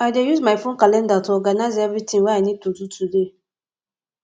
i dey use my phone calendar to organize everything i need to do today